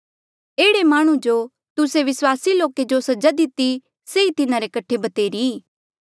ऐहड़े माह्णुं जो तुस्से विस्वासी लोके जो सजा दिती सेई तिन्हारे कठे भतेरी ई